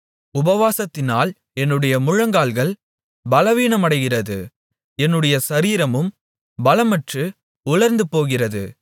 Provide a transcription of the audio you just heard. உபவாசத்தினால் என்னுடைய முழங்கால்கள் பலவீனமடைகிறது என்னுடைய சரீரமும் பலமற்று உலர்ந்து போகிறது